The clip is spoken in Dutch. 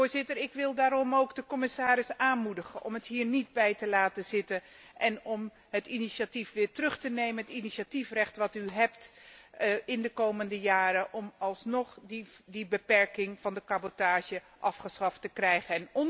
Voorzitter, ik wil daarom ook de commissaris aanmoedigen om het hier niet bij te laten zitten en om het initiatief weer terug te nemen, het initiatiefrecht dat hij in de komende jaren heeft om alsnog die beperking van de cabotage afgeschaft te krijgen.